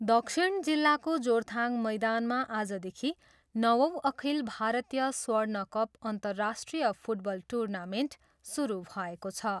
दक्षिण जिल्लाको जोरथाङ मैदानमा आजदेखि नवौँ अखिल भारतीय स्वर्णकप अन्तरराष्ट्रिय फुटबल टुर्नामेन्ट सुरू भएको छ।